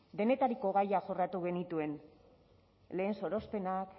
denetariko gaiak jorratu genituen lehen sorospenak